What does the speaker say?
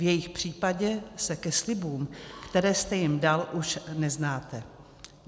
V jejich případě se ke slibům, které jste jim dal, už neznáte.